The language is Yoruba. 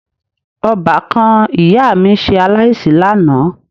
Ọbàkan ìyá mi ṣe aláìsí lánàá